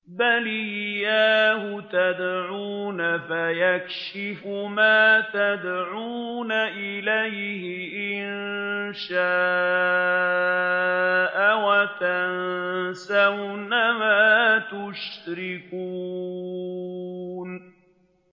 بَلْ إِيَّاهُ تَدْعُونَ فَيَكْشِفُ مَا تَدْعُونَ إِلَيْهِ إِن شَاءَ وَتَنسَوْنَ مَا تُشْرِكُونَ